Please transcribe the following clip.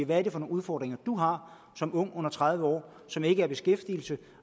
hvad er det for nogle udfordringer du har som ung under tredive år som ikke er i beskæftigelse